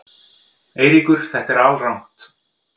Eiríkur segir þetta alrangt.